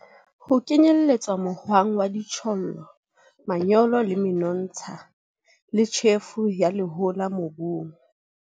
Ho kenyeletsa mohwang wa dijothollo, manyolo, menontsha le tjhefo ya lehola mobung.